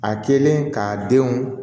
A kɛlen k'a denw